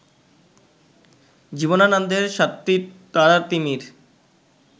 জীবনানন্দের সাতটি তারার তিমির